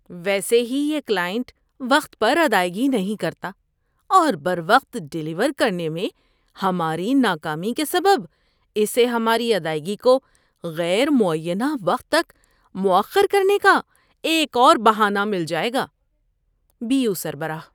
ویسے ہی یہ کلائنٹ وقت پر ادائیگی نہیں کرتا اور بروقت ڈیلیور کرنے میں ہماری ناکامی کے سبب اسے ہماری ادائیگی کو غیر معینہ وقت تک مؤخر کرنے کا ایک اور بہانہ مل جائے گا۔ (بی یو سربراہ)